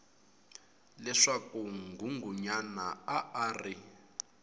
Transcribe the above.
leswaku nghunghunyana a a ri